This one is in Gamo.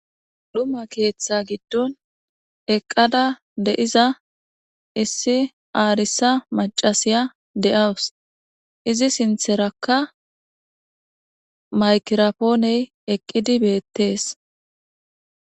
dhuma keeththa giddon eqqada de7iza issi aarisa maccasiya de'awus. izi sintherakka maygrapooney eqqidi beettees.